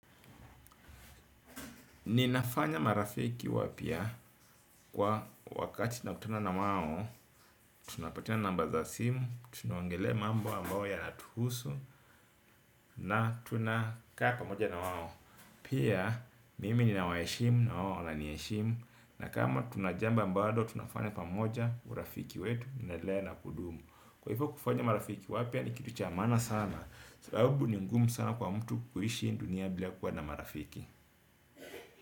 Ninafanya marafiki wapya kwa wakati nakutana na wao. Tunapatiana namba za simu. Tunaongelea mambo ambao yanatuhusu. Na tunakaa pamoja na wao. Pia mimi ninawaheshimu na wao waniheshimu. Na kama tuna jambo ambalo tunafanya pamoja urafiki wetu unaendelea na kudumu. Kwa hivyo kufanya marafiki wapya nikitu cha maana sana. Sababu ni mgumu sana kwa mtu kuishi hii dunia bila kuwa na marafiki.